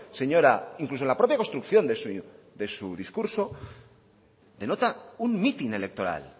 señora incluso la propia construcción de su discurso denota un mitin electoral